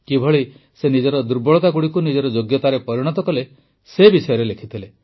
କିଭଳି ସେ ନିଜର ଦୁର୍ବଳତାଗୁଡ଼ିକୁ ନିଜର ଯୋଗ୍ୟତାରେ ପରିଣତ କଲେ ସେ ବିଷୟରେ ଲେଖିଥିଲେ